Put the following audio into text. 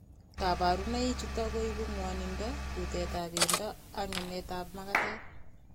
Kaparunai chutok koipu ngwaninndo, kutet ap pendo ak ngemet ap makatet